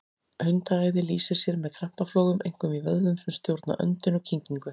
Hundaæði lýsir sér með krampaflogum, einkum í vöðvum sem stjórna öndun og kyngingu.